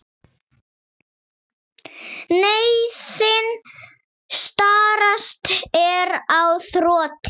Neyðin stærsta er á þroti.